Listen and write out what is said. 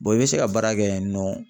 i bɛ se ka baara kɛ yen nɔ.